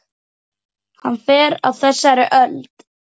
Hann fer á þessari öld.